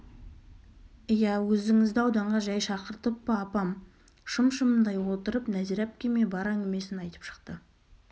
иә өзіңізді ауданға жәй шақыртып па апам шым-шымдай отырып нәзира әпкеме бар әңгімесін айтып шықты